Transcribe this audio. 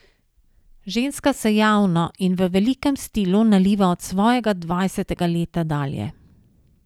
Ženska se javno in v velikem stilu naliva od svojega dvajsetega leta dalje.